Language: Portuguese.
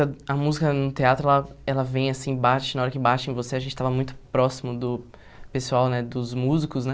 A música no teatro, ela ela vem assim, bate, na hora que bate em você, a gente estava muito próximo do pessoal, né, dos músicos, né?